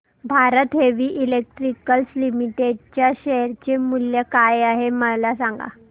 Bharat heavy electricals limited च्या share चे मूल्य काय आहे सांगा